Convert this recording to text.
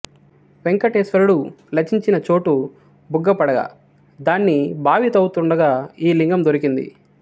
వెంకటేశ్వరుడు లచించిన చోటు బుగ్గ పడగా దాన్ని బావి త్రవ్వుతుండగా ఈ లింగం దొరికింది